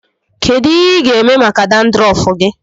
Kedụ ihe ị ga-eme maka dandrọfu gị?